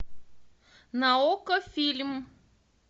на окко фильм